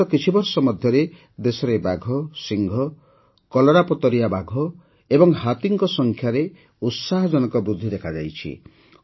ବିଗତ କିଛିବର୍ଷ ମଧ୍ୟରେ ଦେଶରେ ବାଘ ସିଂହ କଲରାପତରିଆ ଓ ହାତୀଙ୍କ ସଂଖ୍ୟାରେ ଉତ୍ସାହଜନକ ବୃଦ୍ଧି ଦେଖାଯାଇଛି